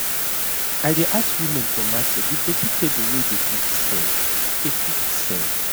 i dey ask women for market the vegatable wey dey quick sell dey quick sell